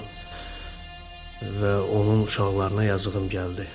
ona və onun uşaqlarına yazığım gəldi.